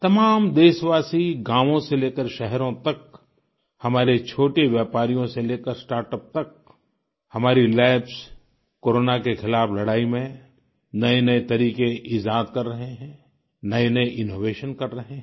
तमाम देशवासी गाँवों से लेकर शहरों तक हमारे छोटे व्यापारियों से लेकर स्टार्टअप तक हमारी लैब्स कोरोना के खिलाफ लड़ाई में नएनए तरीके इज़ाद कर रहे हैं नएनए इनोवेशन कर रहे हैं